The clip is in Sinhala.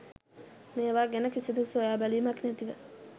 මේවා ගැන කිසිදු සොයාබැලීමක් නැතිව